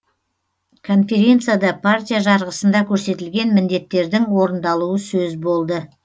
конференцияда партия жарғысында көрсетілген міндеттердің орындалуы сөз болды